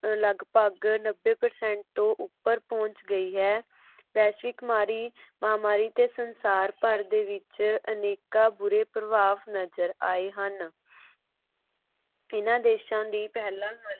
ਲੱਗਭਗ ਨੱਬੇ percent ਤੋਂ ਉਪਰ ਪਹੋੰਚ ਗਈ ਹੈ। ਵੈਸ਼ਵਿਕ ਮਾਰੀ ਮਹਾਮਾਰੀ ਤੇ ਸੰਸਾਰ ਭਰ ਦੇ ਵਿੱਚ ਅਨੇਕਾਂ ਬੁਰੇ ਪ੍ਰਭਾਵ ਨਜ਼ਰ ਆਏ ਹਨ ਜਿਨ੍ਹਾਂ ਦੇਸ਼ਾਂ ਦੀ ਪਹਿਲਾ